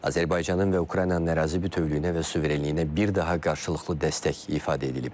Azərbaycanın və Ukraynanın ərazi bütövlüyünə və suverenliyinə bir daha qarşılıqlı dəstək ifadə edilib.